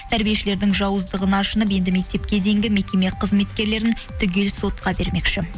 тәрбиешілердің жауыздығына ашынып енді мектепке дейінгі мекеме қызметкерлерін түгел сотқа бермекші